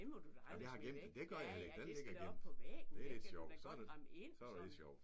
Nej men vi har gemt den. Nej det gør jeg heller ikke. Den ligger gemt. Det lidt sjovt så er så er det lidt sjovt